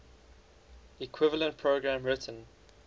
equivalent program written